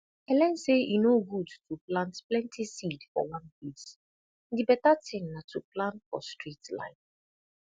i learn say e no good to plant plenty seed for one place di beta tin na to plan for straight line